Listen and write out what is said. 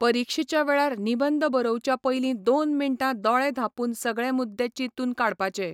परिक्षेच्या वेळार निबंद बरोवच्या पयलीं दोन मिण्टां दोळे धांपून सगळें मुद्दे चिंतून काडपाचे.